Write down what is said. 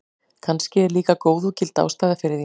Kannski er líka góð og gild ástæða fyrir því.